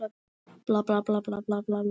Óðinn getur átt við